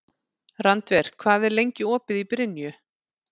Randver, hvað er lengi opið í Brynju?